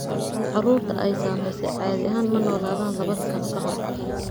Carruurta ay saamaysay caadi ahaan ma noolaadaan laba sano ka hor.